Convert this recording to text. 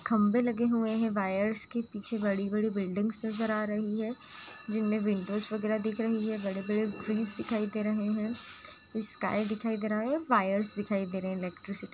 खम्भे लगे हुआ हैं वायर्स के पीछे बड़ी-बड़ी बिल्डिंग नजर आ रही हैं जिनमें विन्डोस वगेरह दिख रही है बड़े-बड़े ट्रीस दिखाई दे रहे हैं स्काइ दिखाई दे रही है वायर्स दिखाई दे रहे है इलेक्ट्रिसिटी --